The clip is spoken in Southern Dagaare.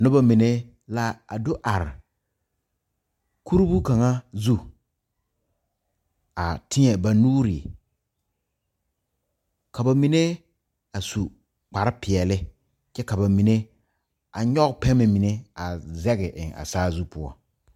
Nobamine la a do are kurihu ka zu a teɛ ba nuuri ka bamine a su kparrepeɛle kyɛ ka bamine a nyɔge pɛmɛ mine a zege eŋ a saazu poɔ.